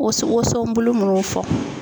Woson bulu munnu fɔ.